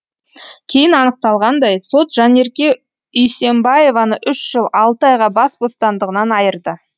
кейін анықталғандай сот жанерке үйсембаеваны үш жыл алты айға бас бостандығынан айырды